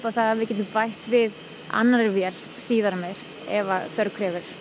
að við getum bætt við annarri vél síðar meir ef þörf krefur